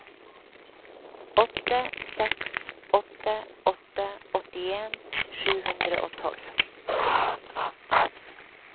åtte seks åtte åtte åttien sju hundre og tolv